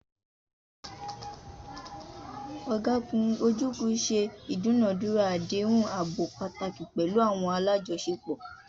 Ọ̀gágun Ojukwu ṣe ìdúnàádúrà àdéhùn ààbò pàtàkì pẹ̀lú àwọn alájọṣepọ̀.